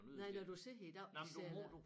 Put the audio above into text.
Nej når du sidder i dag de sidder